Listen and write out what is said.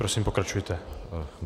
Prosím, pokračujte.